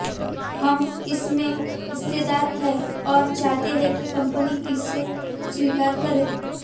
हम इसमें हिस्सेदार हैं और चाहते हैं कि कंपनी इसे स्वीकार करे